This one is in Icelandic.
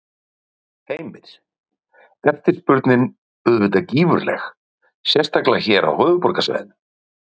Heimir: Eftirspurnin er auðvitað gífurleg, sérstaklega hér á höfuðborgarsvæðinu?